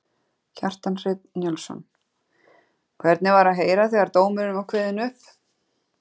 Kjartan Hreinn Njálsson: Hvernig var að heyra þegar dómurinn var kveðinn upp?